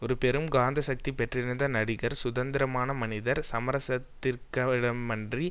ஒரு பெரும் காந்தசக்தி பெற்றிருந்த நடிகர் சுதந்திரமான மனிதர் சமரசத்திற்கிடமின்றி